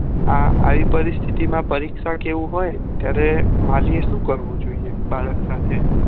આ ઈ પરોસ્થીતી માં પરીક્ષા માં એવું હોય ત્યારે વાલી એ સુ કરવું જોઈએ બાળક સાથે